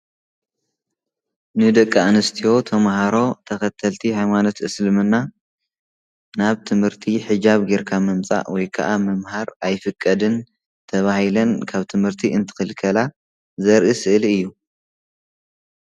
ንደቂ ኣንስትዮ ተምህሮ ተከተልቲ ሃይማኖት እስልምና ናብ ትምህርቲ ሕጃብ ገይርካ ምምፃእ ወይ ከዓ ምምሃር ኣይፍቀድን ተባሂለን ካብ ትምህርቲ እንትክልከላ ዘርኢ ስእሊ እዩ።